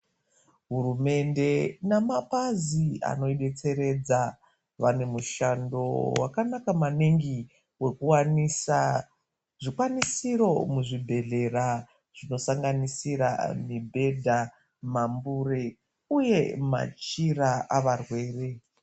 Hurumende nemabazi anobetseredza vane mishando wakanaka maningi wekuwanisa zvikwanisiro muzvibhedhera zvinosanganisira mibhedha mambure uye machira avarwere.